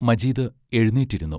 Majeed എഴുന്നേറ്റിരുന്നു.